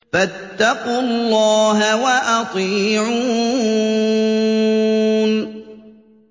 فَاتَّقُوا اللَّهَ وَأَطِيعُونِ